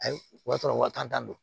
Ayi o y'a sɔrɔ waa tan don